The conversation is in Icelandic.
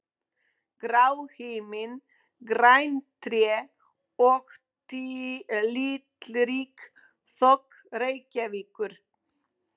Grár himinn, græn tré og litrík þök Reykjavíkur.